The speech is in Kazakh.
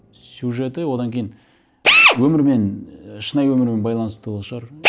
сюжеті одан кейін өмірмен ііі шынайы өмірмен байланыстығы шығар